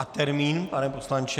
A termín, pane poslanče?